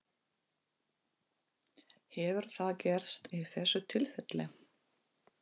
Hefur það gerst í þessu tilfelli?